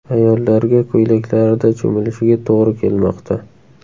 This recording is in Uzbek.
Ayollarga ko‘ylaklarida cho‘milishiga to‘g‘ri kelmoqda.